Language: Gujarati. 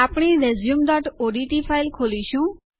આપણે આપણી resumeઓડીટી ફાઈલ ખોલીશું